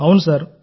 అవును సార్